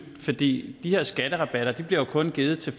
for de her skatterabatter bliver kun givet til